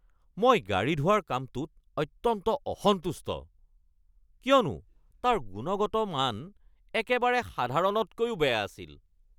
মই গাড়ী ধোৱাৰ কামটোত অত্যন্ত অসন্তুষ্ট কিয়নো তাৰ গুণগত মান একেবাৰে সাধাৰণতকৈও বেয়া আছিল।